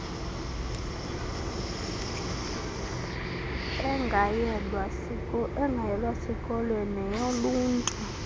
engayelwa sikolweni neyoluntu